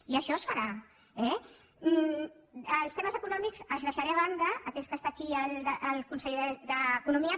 i això es farà eh els temes econòmics els deixaré de banda atès que està aquí el conseller d’economia